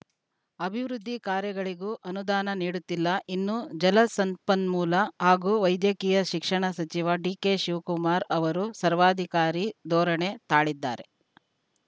ಅಭಿವೃದ್ಧಿ ಕಾರ್ಯಗಳಿಗೂ ಅನುದಾನ ನೀಡುತ್ತಿಲ್ಲ ಇನ್ನು ಜಲಸಂಪನ್ಮೂಲ ಹಾಗೂ ವೈದ್ಯಕೀಯ ಶಿಕ್ಷಣ ಸಚಿವ ಡಿಕೆ ಶಿವಕುಮಾರ್‌ ಅವರು ಸರ್ವಾಧಿಕಾರಿ ಧೋರಣೆ ತಾಳಿದ್ದಾರೆ